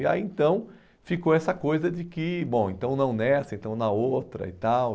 E aí então ficou essa coisa de que, bom, então não nessa, então na outra e tal.